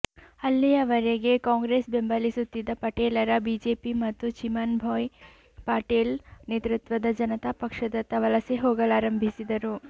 ಅಲ್ಲಿಯವರೆಗೆ ಕಾಂಗ್ರೆಸ್ ಬೆಂಬಲಿಸುತ್ತಿದ್ದ ಪಟೇಲರು ಬಿಜೆಪಿ ಮತ್ತು ಚಿಮನ್ ಭಾಯ್ ಪಟೇಲ್ ನೇತೃತ್ವದ ಜನತಾ ಪಕ್ಷದತ್ತ ವಲಸೆ ಹೋಗಲಾರಂಭಿಸಿದರು